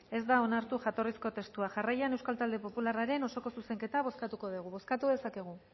ez da onartu jatorrizko testua jarraian euskal talde popularraren osoko zuzenketa bozkatuko dugu bozkatu dezakegu